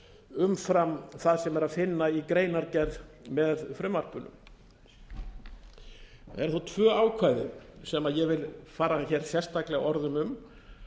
umfram það sem er að finna í greinargerð með frumvarpinu það eru þó tvö ákvæði sem ég vil fara hér sérstaklega orðum um